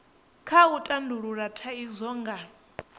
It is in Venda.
kha u tandulula thaidzo nga